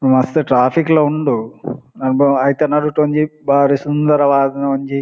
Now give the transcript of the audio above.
ಮಸ್ತ್ ಟ್ರಾಫಿಕ್ ಲ ಉಂಡು ಆ ಬಾ ಐತ ನಡುಟು ಒಂಜಿ ಬಾರಿ ಸುಂದರವಾದಿನ ಒಂಜಿ--